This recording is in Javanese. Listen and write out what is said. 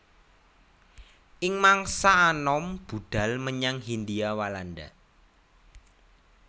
Ing mangsa anom budhal menyang Hindia Walanda